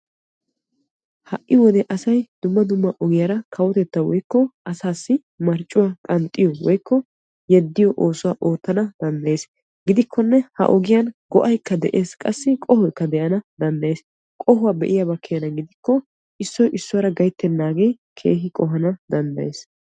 Ha'i wode asay dumma dumma ogiyaara kawotettaa woykko asaassi marccuwa qanxxiyo woykko yeddiyo oosuwa oottanadanddayees. gidikkonne ha ogiyan go'aykka de'ees qassi qohoykka de'ana danddayees. qohuwa be'iyaaba keena gidikko issoy issuwara gayttenaagee keehi qohana danddayees.